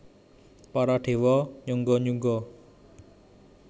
Para déwa nyungga nyungga